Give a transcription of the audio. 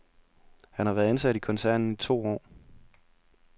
Han har været ansat i koncernen i to år.